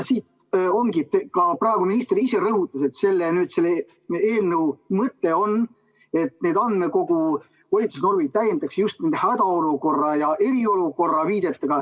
Ka praegune minister rõhutas, et selle eelnõu mõte on, et neid andmekoguga seotud volitusnorme täiendatakse just viitega hädaolukorrale ja eriolukorrale.